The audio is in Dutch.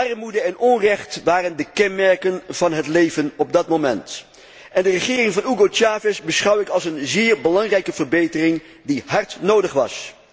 Armoede en onrecht waren de kenmerken van het leven op dat moment, en de regering van Hugo Chávez beschouw ik als een zeer belangrijke verbetering die hard nodig was.